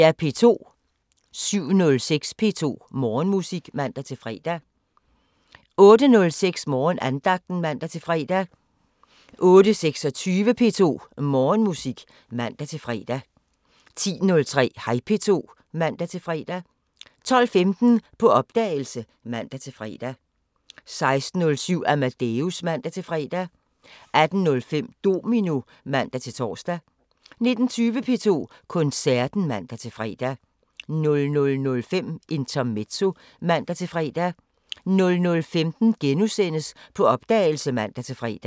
07:06: P2 Morgenmusik (man-fre) 08:06: Morgenandagten (man-fre) 08:26: P2 Morgenmusik (man-fre) 10:03: Hej P2 (man-fre) 12:15: På opdagelse (man-fre) 16:07: Amadeus (man-fre) 18:05: Domino (man-tor) 19:20: P2 Koncerten (man-fre) 00:05: Intermezzo (man-fre) 00:15: På opdagelse *(man-fre)